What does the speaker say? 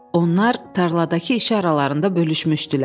Onlar tarladakı işi aralarında bölüşmüşdülər.